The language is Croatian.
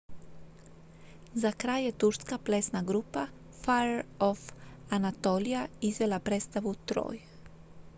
"za kraj je turska plesna grupa fire of anatolia izvela predstavu "troy"".